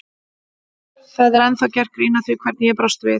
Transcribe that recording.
Það er ennþá gert grín að því hvernig ég brást við.